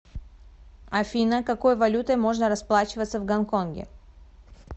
афина какой валютой можно расплачиваться в гонконге